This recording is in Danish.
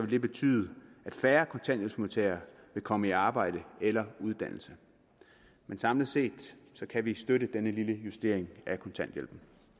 det betyde at færre kontanthjælpsmodtagere vil komme i arbejde eller uddannelse men samlet set kan vi støtte denne lille justering af kontanthjælpen